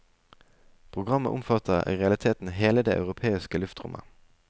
Programmet omfatter i realiteten hele det europeiske luftrommet.